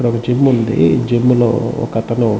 ఇక్కడ ఒక జిమ్ ఉంది.జిమ్ లో ఒక అతను--